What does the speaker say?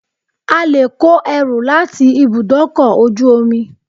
A lè kó ẹrù láti ibùdókọ̀ ojú omi.